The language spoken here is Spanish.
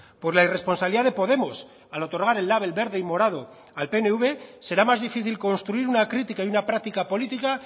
por la irresponsabilidad de podemos al otorgar el label verde y morado al pnv será más difícil construir una crítica y una práctica política